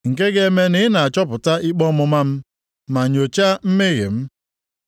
Nke ga-eme na i na-achọpụta ikpe ọmụma m ma nyochaa mmehie m?